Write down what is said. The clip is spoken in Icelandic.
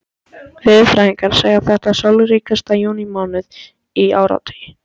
Veðurfræðingar segja þetta sólríkasta júnímánuð í áratugi.